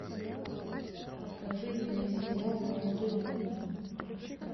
покажи мне сериал молодой папа